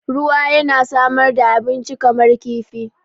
Ruwa yana samar da abinci kamar kifi.